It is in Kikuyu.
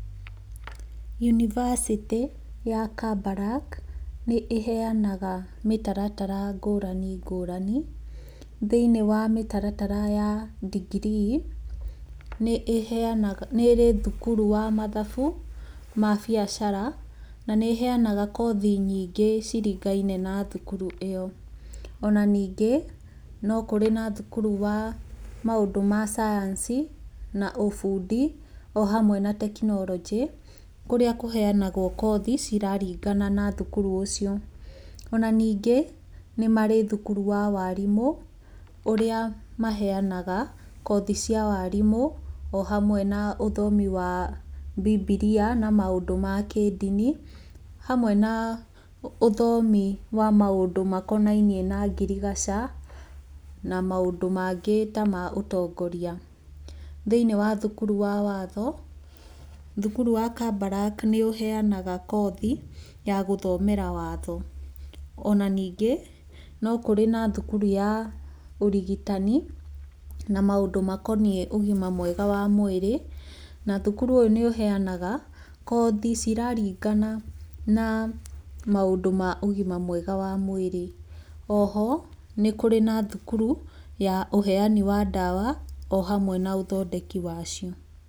Yunibacĩtĩ ya Kabarak nĩ ĩheanaga mĩtaratara ngũrani ngũrani. Thĩiniĩ wa mĩtaratara ya degree nĩ ĩrĩ thukuru wa mathabu ma biacara na nĩ ĩheanaga kothi nyingĩ cirigaine na thukuru ĩyo. Ona ningĩ no kũrĩ na thukuru wa maũndũ ma cayanici na ũbundi o hamwe na tekinoronjĩ, kũrĩa kũheanagwo kothi ciraringana na thukuru ũcio. Ona ningĩ nĩ marĩ thukuru wa warimũ ũrĩa maheanaga kothi cia warimũ o hamwe na ũthomi wa Bibilia na maũndũ ma kĩndini. Hamwe na ũthomi wa maũndũ makonainie na ngirigaca na maũndũ mangĩ ta ma ũtongoria. Thĩiniĩ wa thukuru wa watho, thukuru wa Kabarak nĩ ũheanaga kothi ya gũthomera watho. Ona ningĩ no kũrĩ na thukuru ya ũrigitani na maũndũ makoniĩ ũgima mwega wa mwĩrĩ. Na thukuru ũyũ nĩ ũheanaga kothi ciraringana na maũndũ ma ũgima mwega wa mwĩrĩ. O ho nĩ kũrĩ na thukuru ya ũheani wa ndawa o hamwe na ũthondeki wacio.